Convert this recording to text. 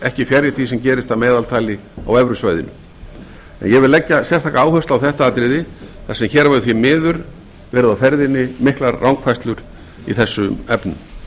ekki fjarri því sem gerist að meðaltali á evrusvæðinu en ég vil leggja sérstaka áherslu á þetta atriði þar sem hér hafa því miður verið á ferðinni miklar rangfærslur í þessum efnum